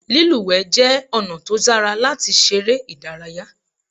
Lílùwẹ̀ jẹ́ ọ̀nà tó dára láti ṣeré ìdárayá.